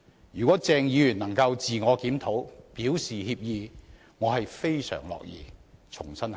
如果鄭議員能夠自我檢討，表示歉意，我非常樂意重新考慮。